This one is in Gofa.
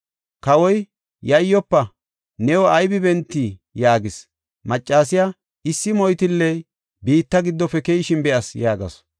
Kawoy, “Yayyofa! New aybe bentey?” yaagis. Maccasiya, “Issi moytilley biitta giddofe keyishin be7as” yaagasu.